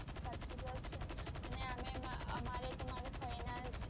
અને આમય અમારે તો મારા ફય ના